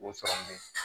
O sɔrɔlen